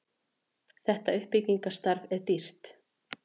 þetta uppbyggingarstarf er dýrt